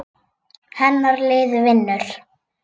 Hennar lið vinnur.